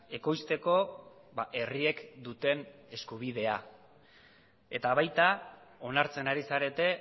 ekoizteko herriek duten eskubidea eta baita onartzen ari zarete